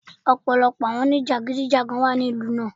Ọ̀pọ̀lọpọ̀ àwọn oníjàgídíjàgan wà ní ìlú náà.